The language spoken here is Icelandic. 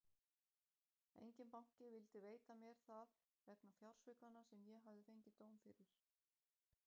Enginn banki vildi veita mér það vegna fjársvikanna sem ég hafði fengið dóm fyrir.